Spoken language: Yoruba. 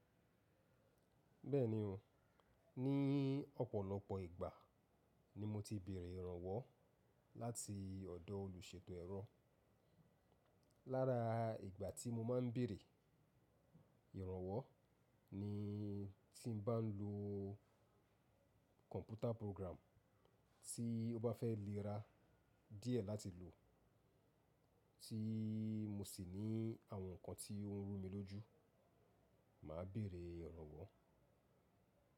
Bẹ́ẹ̀ni o, ní ọ̀pọ̀lọpọ̀ ìgbà ni mo ti béèrè ìrànwọ́ láti ọ̀dọ̀ olùṣètò ẹ̀rọ. Lára ìgbà tí mo ma ń béèrè ìrànwọ́ ni tí n bá ń lo kọ̀mpútà program tí ó bá fẹ́ léra díẹ̀ láti lò, tí mo sì ní àwọn nǹkan tí ó ń rú mi lójú, mà á béèrè ìrànwọ́.